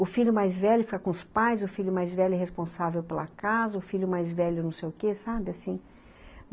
O filho mais velho fica com os pais, o filho mais velho é responsável pela casa, o filho mais velho não sei o quê, sabe, assim